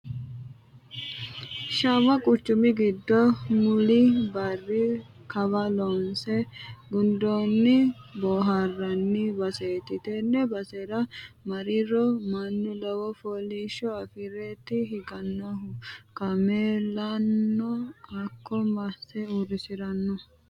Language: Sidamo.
Shawa quchumi giddo muli barri kawa loonse gundonni booharanni baseti tene basera mariro mannu lowo foolishsho affireti higanohu kaameellano hakko masse uurrisirano.